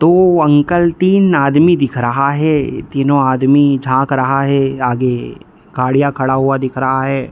तो अंकल तीन आदमी दिख रहा है तीनों आदमी झाँक रहा है आगे | गाड़ियाँ खड़ा हुआ दिख रहा है।